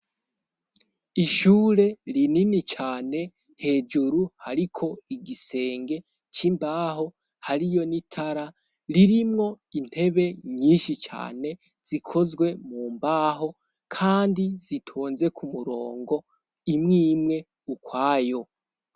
Ishure rinini cane hejuru hariko igisenge c'imbaho hariyo n'itara, ririmwo intebe nyinshi cane zikozwe mumbaho kandi zitonze k'umurongo imwimwe ukwayo.